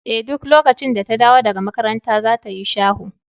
Eh duk lokacin da ta dawo daga makaranta za ta yi shaho.